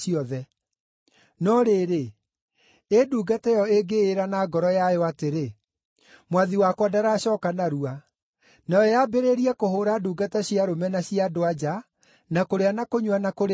No rĩrĩ, ĩ ndungata ĩyo ĩngĩĩra na ngoro yayo atĩrĩ, ‘Mwathi wakwa ndaracooka narua,’ nayo yambĩrĩrie kũhũũra ndungata cia arũme na cia andũ-a-nja, na kũrĩa na kũnyua na kũrĩĩo-rĩ,